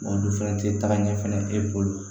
Olu fɛnɛ tɛ tagaɲɛ fɛnɛ e bolo